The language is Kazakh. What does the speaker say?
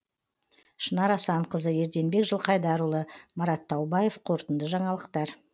шынар асанқызы ерденбек жылқайдарұлы марат таубаев қорытынды жаңалықтар